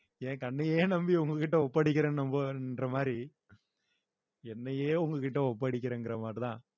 என் கண்ணையே நம்பி உங்க கிட்ட ஒப்படைக்கிறேன்னு நம்புன்ற மாதிரி என்னையே உங்க கிட்ட ஒப்படைக்கறேங்கற மாதிரிதான்